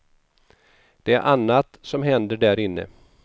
Det är annat som händer där inne.